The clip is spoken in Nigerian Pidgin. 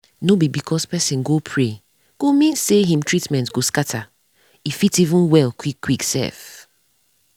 nor be because pesin go pray go mean say him treatment go scata e fit even well quick quick sef